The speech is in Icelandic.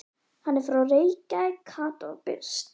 Hann er frá Reykjavík, Kata var byrst.